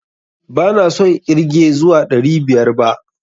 ba na son ƙirge zuwa ɗari biyar ba.